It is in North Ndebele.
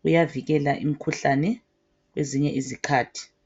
kuyavikela imikhuhlane kwezinye izikhathi